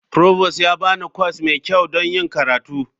Provost ya ba ni kwas mai kyau don yin karatu.